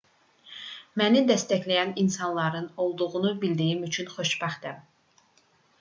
məni dəstəkləyən insanların olduğunu bildiyim üçün xoşbəxtəm